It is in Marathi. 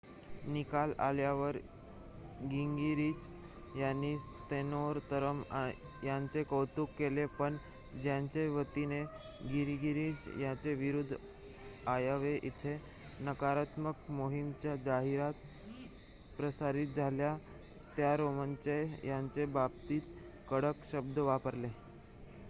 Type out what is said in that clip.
निकाल आल्यावर गिंगरिच यांनी सॅन्तोरम यांचे कौतुक केले पण ज्यांच्या वतीने गिंगरिच यांच्याविरुध्द आयोवा येथे नकारात्मक मोहिमेच्या जाहिराती प्रसारित झाल्या त्या रॉमने यांच्या बाबतीत कडक शब्द वापरले